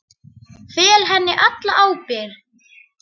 Fel henni alla ábyrgð.